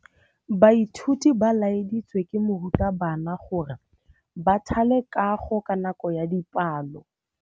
Baithuti ba laeditswe ke morutabana gore ba thale kagô ka nako ya dipalô.